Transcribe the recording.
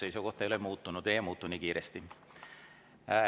Minu seisukoht ei ole muutunud, see ei muutu nii kiiresti.